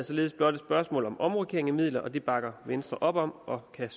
således blot et spørgsmål om omrokering af midler og det bakker venstre op om og kan